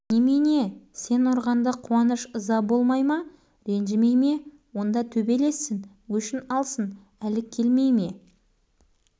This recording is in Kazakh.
шоқан сен өйтіп қатыгез болма біреуге жұдырығын ала жүгіру барып тұрған жат қылық біз сені өйтіп